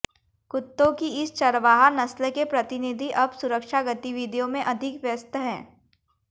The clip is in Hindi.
कुत्तों की इस चरवाहा नस्ल के प्रतिनिधि अब सुरक्षा गतिविधियों में अधिक व्यस्त हैं